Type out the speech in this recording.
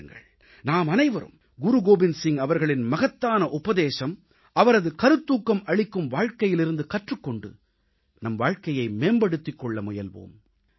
வாருங்கள் நாமனைவரும் குருகோவிந்த் சிங் அவர்களின் மகத்தான உபதேசம் அவரது கருத்தூக்கம் அளிக்கும் வாழ்க்கையிலிருந்து கற்றுக் கொண்டு நம் வாழ்க்கையை மேம்படுத்திக் கொள்ள முயல்வோம்